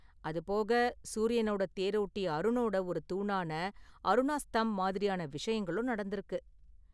அது போக சூரியனோட தேரோட்டி அருனோட ஒரு தூணான அருணா ஸ்தம்ப் மாதிரியான விஷயங்களும் நடந்திருக்கு.